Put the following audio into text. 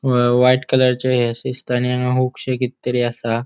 हा व्हाइट कलरची हे शे दिसता आणि कित तरी असा.